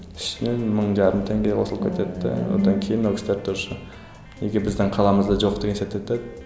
үстінен мың жарым теңге қосылып кетеді де одан кейін ол кісілер тоже неге біздің қаламызда жоқ деген